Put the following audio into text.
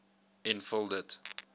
en vul dit